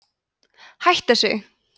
hættu þessu